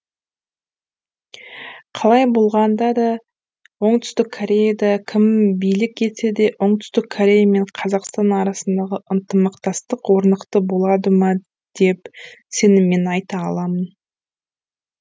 қалай болғанда да оңтүстік кореяда кім билік етсе де оңтүстік корея мен қазақстан арасындағы ынтымақтастық орнықты болады ма деп сеніммен айта аламын